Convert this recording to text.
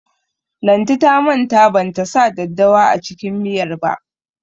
Lanti ta manta ban ta sa daddawa a cikin miyar ba.